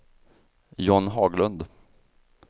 John Haglund